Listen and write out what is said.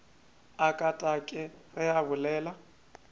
a katakate ge a bolela